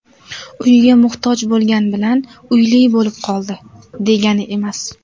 Uyga muhtoj bo‘lgan bilan uyli bo‘lib qoldi, degani emas.